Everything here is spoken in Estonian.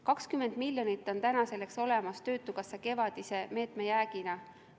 20 miljonit on selleks olemas töötukassa kevadise meetme jäägina.